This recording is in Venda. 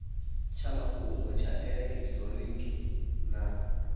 tsha mafhungo tsha elekitironiki na